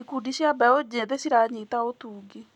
Ikundi cia mbeũ njĩthĩ ciranyita ũtungi.